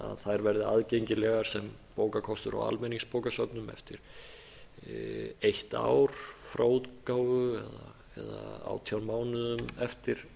þær verði aðgengilegar sem bókakostur á almenningsbókasöfnum eftir eitt ár frá útgáfu eða átján mánuðum eftir